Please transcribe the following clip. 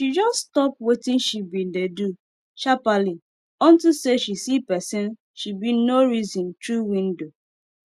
she jus stop wetin she bin dey do sharperly unto say she see pesin she bin nor reson tru window